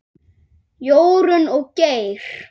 Jórunn og Geir.